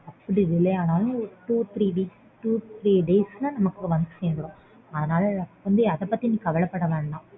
அப்படி delay ஆனாலும் two three weeks two three days ல நமக்கு வந்து சேர்ந்த்ரும். அதனால அதபத்தி நீ கவலைப்பட வேண்டாம்